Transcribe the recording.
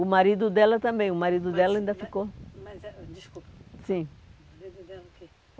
O marido dela também, o marido dela ainda ficou. Desculpa. Sim